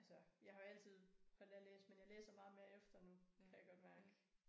Altså jeg har jo altid holdt af at læse men jeg læser meget mere efter nu kan jeg godt mærke